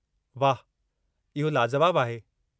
वाह! इहो लाजुवाबु आहे।